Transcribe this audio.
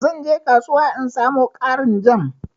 zan je kasuwa in samo ƙarin jam.